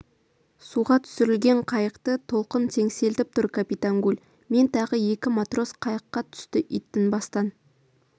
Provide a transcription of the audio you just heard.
суға түсірілген қайықты толқын теңселтіп тұр капитан гуль мен тағы екі матрос қайыққа түсті ит тынбастан